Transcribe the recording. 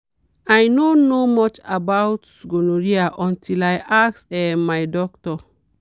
i no know much about gonorrhea until i ask um my doctor.